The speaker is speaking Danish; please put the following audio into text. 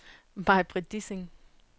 Maj-Britt Dissing